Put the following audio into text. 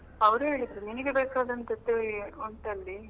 ಅವ್ರು ಹೇಳಿದ್ರು ನಿನಗೆ ಬೇಕಾದಂಥದ್ದೇ ಉಂಟಲ್ಲಿ.